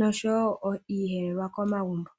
yokulanda iiyelelwa komagumbo.